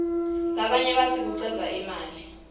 labanye batsi kucedza imali